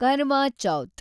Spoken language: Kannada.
ಕರ್ವಾ ಚೌತ್